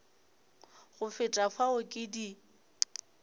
go feta fao ke di